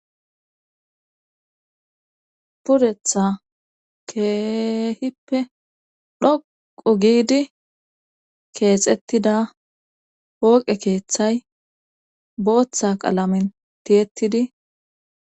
Puretha keehippe dhoqo giidi keexettida pooqe keeththay booththa qalamen tiyettidi